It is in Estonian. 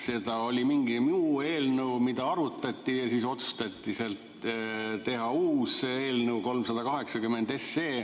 Oli mingi muu eelnõu, mida arutati, ja siis selle käigus otsustati teha uus eelnõu nr 380.